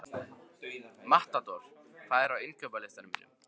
Matador, hvað er á innkaupalistanum mínum?